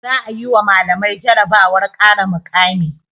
Za'a yi wa malamai jarabawar ƙara mukami.